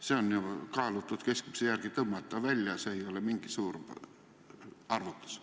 Selle saab kaalutud keskmise järgi välja rehkendada, see ei ole mingi suur arvutus.